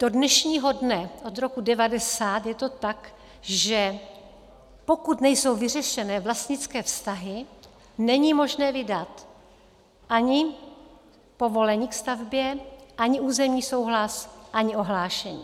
Do dnešního dne od roku 1990 je to tak, že pokud nejsou vyřešeny vlastnické vztahy, není možné vydat ani povolení ke stavbě, ani územní souhlas, ani ohlášení.